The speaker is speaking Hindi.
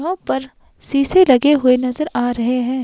वहां पर शीशे लगे हुए नजर आ रहे हैं।